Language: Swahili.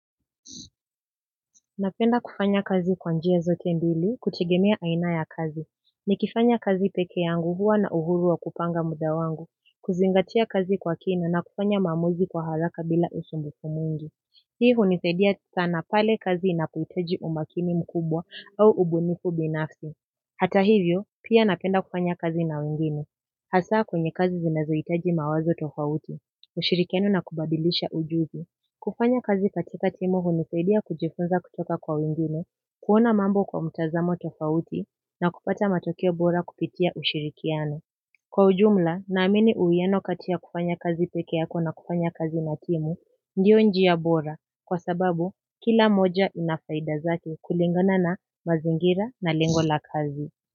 Napenda kufanya kazi kwa njia zote mbili kutegemea aina ya kazi. Nikifanya kazi peke yangu huwa na uhuru wa kupanga muda wangu, kuzingatia kazi kwa kina na kufanya maamuzi kwa haraka bila usumbufu mwingi. Hii hunisaidia sana pale kazi inapohitaji umakini mkubwa au ubunifu binafsi. Hata hivyo, pia napenda kufanya kazi na wengine. Hasa kwenye kazi zinazohitaji mawazo tofauti, ushirikiano na kubadilisha ujumbe. Kufanya kazi katika timu hunisaidia kujifunza kutoka kwa wengine kuona mambo kwa mtazamo tofauti na kupata matokeo bora kupitia ushirikiano. Kwa ujumla, naamini uwiano kati ya kufanya kazi peke yako na kufanya kazi na timu, ndio njia bora, kwa sababu kila moja ina faida zake kulingana na mazingira na lengo la kazi.